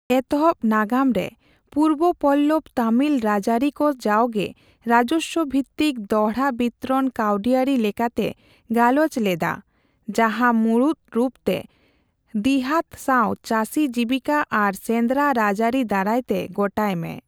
ᱮᱛᱚᱦᱚᱵ ᱱᱟᱜᱟᱢ ᱨᱮ ᱯᱩᱨᱵᱼᱯᱚᱞᱞᱚᱣ ᱛᱚᱢᱤᱞ ᱨᱟᱡᱽᱭᱟᱹᱨᱤ ᱠᱚ ᱡᱟᱣᱜᱮ ᱨᱟᱡᱚᱥᱣᱚᱼᱵᱷᱤᱛᱤᱠ ᱫᱚᱦᱲᱟᱵᱤᱛᱨᱚᱱ ᱠᱟᱹᱣᱰᱤᱭᱟᱹᱨᱤ ᱞᱮᱠᱟᱛᱮ ᱜᱟᱞᱚᱪ ᱞᱮᱫ ᱟ, ᱡᱟᱦᱟᱸ ᱢᱩᱬᱩᱛ ᱨᱩᱯ ᱛᱮ ᱫᱤᱦᱟᱹᱛᱼᱥᱟᱣᱼᱪᱟᱹᱥᱤ ᱡᱤᱣᱤᱠᱟᱹ ᱟᱨ ᱥᱮᱱᱫᱽᱨᱟ ᱨᱟᱡᱽᱭᱟᱨᱤ ᱫᱟᱨᱟᱭ ᱛᱮ ᱜᱚᱴᱟᱭ ᱢᱮ ᱾